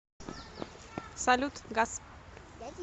салют гас